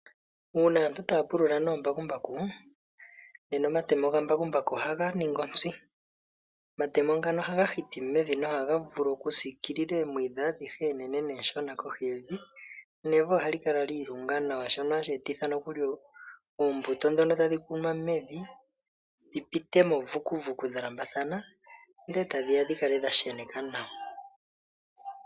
Uuna aantu taya pulula noombakumbaku, nena omatemo gambakumbaku ohaga ningi ontsi. Omatemo ngano ohaga hiti mevi nohaga vulu okusikiilila eemwiidhi adhihe eenene neshona kohi yevi, nevi ohali kala li ilunga nawa shono hashi etitha nokuli oombuto ndhono tadhi kunwa dhi pitemo vukuvuku dha lambathana ndele etadhi ya dhi kale dha sheneka nawa.